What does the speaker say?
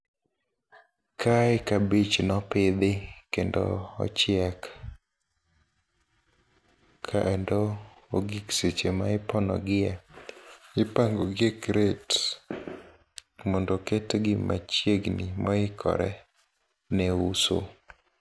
Kae kabich nopidhi kendo ochiek kendo ogik seche ma iponogie ipango gi e crate mondo ketgi machiegni maoikore ne uso.